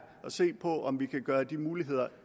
at se på om vi kan gøre de muligheder